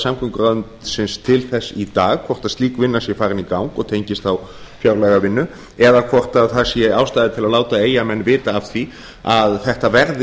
samgönguráðuneytisins til þess í dag hvort slík vinna sé farin í gang og tengist þá fjárlagavinnu eða hvort það sé ástæða til að láta eyjamenn vita af því að þetta verði